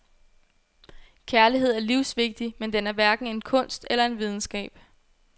Kærlighed er livsvigtig, men den er hverken en kunst eller en videnskab.